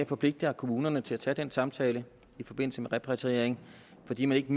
forpligter kommunerne til at tage en samtale i forbindelse med repatrieringen fordi man ikke